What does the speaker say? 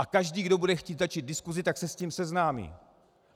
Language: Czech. A každý, kdo bude chtít začít diskusi, tak se s tím seznámí.